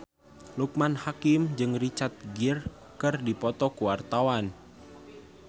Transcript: Loekman Hakim jeung Richard Gere keur dipoto ku wartawan